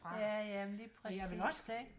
Ja ja men lige præcis ikke